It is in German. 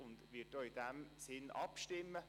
Sie wird auch in diesem Sinn abstimmen.